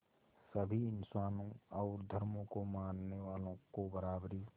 सभी इंसानों और धर्मों को मानने वालों को बराबरी